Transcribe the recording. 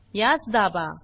यास दाबा